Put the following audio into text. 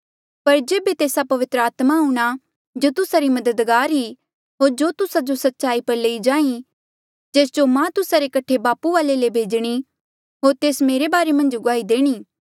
पर जेबे तेस्सा पवित्र आत्मा आऊंणा जो तुस्सा री मददगार ई होर जो तुस्सा जो सच्चाई पर लेई जांहीं जेस जो मां तुस्सा रे कठे बापू वाले ले भेजणी होर तेस मेरे बारे मन्झ गुआही देणी